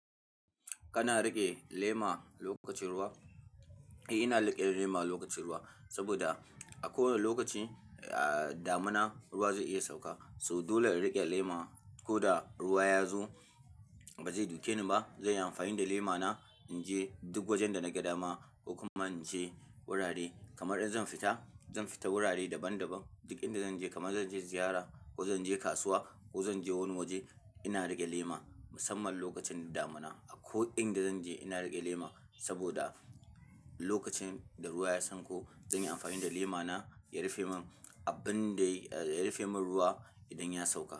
Kana riƙe lema lokacin ruwa? Eh, ina riƙe lema lokacin ruwa saboda a kowanne lokaci, ah, damuna ruwa zai iya sauka. So dole na riƙe lema, ko da ruwa ya zo ba zai duke ni ba. Zanyi amfani da lema na in je duk wajen da naga dama ko kuma in je wurare. Kamar in zan fita, zan fita wurare daban daban. Duk inda zan je kamar zan je ziyara ko zan je kasuwa ko zan je wani waje ina riƙe lema. Musamman lokacin damuna. A ko inda zan je ina riƙe lema saboda lokacin da ruwa ya sanko, zan yi amfani da lema na ya rufe min abin da, ah, ya rufe min ruwa idan ya sauka.